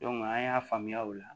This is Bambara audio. an y'a faamuya o la